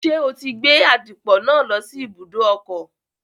Ṣé o ti gbé àdìpọ̀ náà lọ sí ibùdó ọkọ̀?